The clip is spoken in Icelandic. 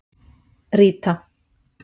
Ríta